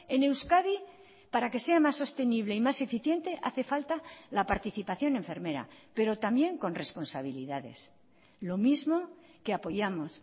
en euskadi para que sea más sostenible y más eficiente hace falta la participación enfermera pero también con responsabilidades lo mismo que apoyamos